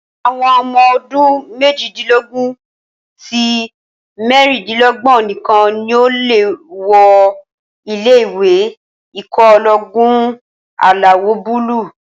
Àwọn ọmọ ọdún méjìdínlógún sí mẹ́rindínlógbọ̀n nìkan ni o lè wọ ilé-ìwé ikọ̀ ológun alawọ̀-búúlù